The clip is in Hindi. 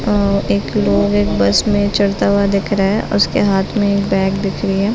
और एक लोग एक बस मे चढ़ता हुआ दिख रहा है उसके हाथ मे एक बैग दिख रही है।